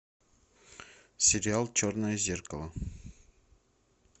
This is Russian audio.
сериал черное зеркало